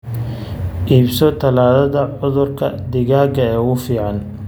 Iibso tallaalada cudurka digaaga ee ugu fiican.